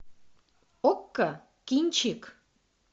окко кинчик